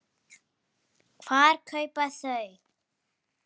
Hvar kaupa þau?